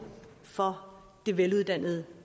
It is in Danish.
for veluddannet